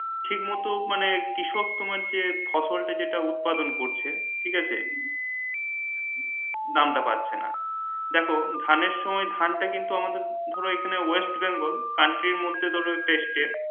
ঠিক মতো মানে কৃষক তোমার যে ফসল টা তোমার যেটা উৎপাদন করছে ঠিক আছে দাম টা পাচ্ছে না দেখো ধান এর সময় ধান টা কিন্তু আমাদের ধরো এখানে west bengal country এর মধ্যে ধরো